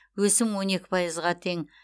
өсім он екі пайызға тең